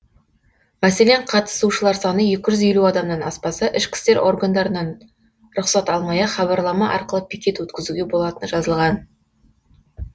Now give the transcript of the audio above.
мәселен қатысушылар саны екі жүз елу адамнан аспаса ішкі істер органдарынан рұқсат алмай ақ хабарлама арқылы пикет өткізуге болатыны жазылған